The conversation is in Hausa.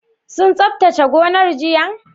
Sun tsabtace gonar jiya?